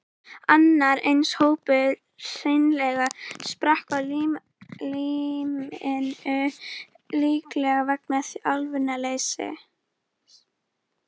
Annar eins hópur hreinlega sprakk á limminu, líklega vegna þjálfunarleysis.